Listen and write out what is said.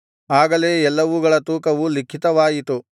ಆಗಲೇ ಎಲ್ಲವುಗಳ ತೂಕವು ಲಿಖಿತವಾಯಿತು